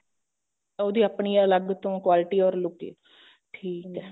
ਉਹਦੀ ਆਪਣੀ ਅੱਲਗ ਤੋਂ quality or look ਠੀਕ ਐ